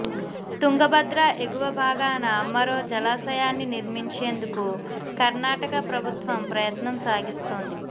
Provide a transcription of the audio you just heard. తుంగభద్ర ఎగువ భాగాన మరో జలాశయాన్ని నిర్మించేందుకు కర్ణాటక ప్రభుత్వం ప్రయత్నం సాగిస్తోంది